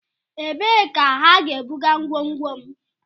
Ebee ka ha ga-ebuga ngwongwo m?